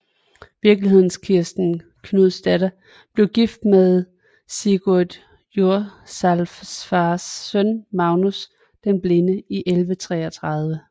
Virkelighedens Kirsten Knudsdatter blev gift med Sigurd Jorsalfars søn Magnus den Blinde i 1133